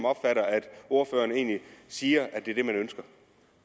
opfatter at ordføreren egentlig siger